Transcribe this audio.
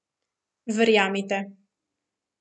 Verjemite.